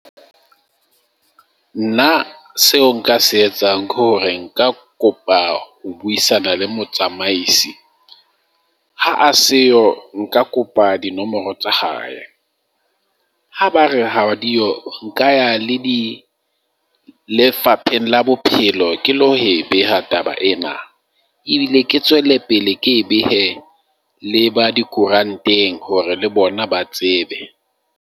Nna seo nka se etsang ke hore nka kopa ho buisana le motsamaisi, ha a seyo nka kopa dinomoro tsa hae. Ha ba re ha di yo, nka le di Lefapheng la Bophelo, ke lo e beha taba ena. Ebile ke tswele pele ke behe le ba dikoranteng hore le bona ba tsebe.